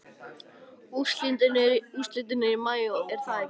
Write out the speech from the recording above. Úrslitin eru í maí er það ekki?